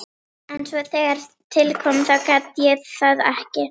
En svo þegar til kom þá gat ég það ekki.